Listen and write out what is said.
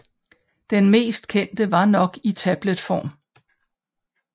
Den mest kendte er nok i tabletform